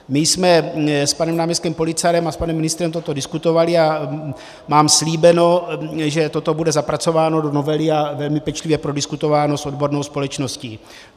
My jsme s panem náměstkem Policarem a s panem ministrem toto diskutovali a mám slíbeno, že toto bude zapracováno do novely a velmi pečlivě prodiskutováno s odbornou společností.